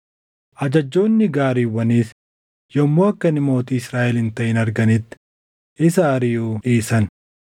ajajjoonni gaariiwwaniis yommuu akka inni mootii Israaʼel hin taʼin arganitti isa ariʼuu dhiisan.